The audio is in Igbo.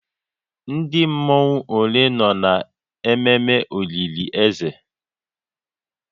Ndị mmọnwu ole nọ na ememe olili ze?